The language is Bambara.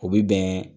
O bɛ bɛn